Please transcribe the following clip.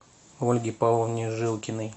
ольге павловне жилкиной